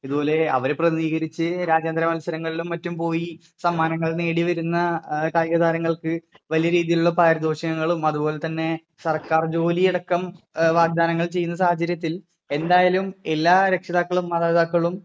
ഇത് പോലെ അവരെ പ്രതിനിധീകരിച്ച് രാജ്യാന്തര മൽസരങ്ങളിലും മറ്റും പോയി സമ്മാനങ്ങൾ നേടി വരുന്ന കായിക താരങ്ങള്‍ക്ക് വലിയ രീതിയിലുള്ള പാരിതോഷികങ്ങളും അത് പോലെ തന്നെ സർകാർ ജോലി അടക്കം വാഗ്ദാനങ്ങൾ ചെയ്യുന്ന സാഹചര്യത്തിൽ എന്തായാലും എല്ലാ രക്ഷിതാക്കളും മാതാ പിതാക്കളും